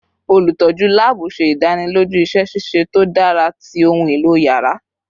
Olutọju laabu ṣe idaniloju iṣẹ ṣiṣe to dara ti ohun elo yàrá